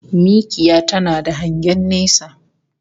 Mikiya tana da hangen nesa